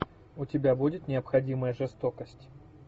у тебя будет необходимая жестокость